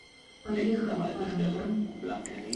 поехали паранорм